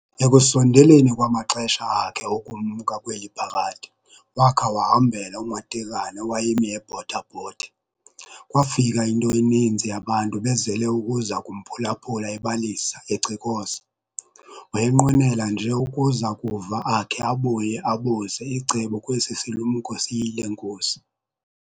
Ekusondeleni kwamaxesha akhe okumka kweli phakade, wakha wahambela uMatekane owayemi ebotha-bothe. Kwaafika into eninzi yabantu bezele ukuza kumphulaphula ebalisa, ecikoza. Wayenqwenela nje ukuza kuva, akhe abuye abuze icebo kwesi silumko siyile nkosi.